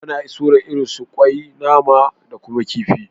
Ana soya irin su nama, kwai da kuma kifi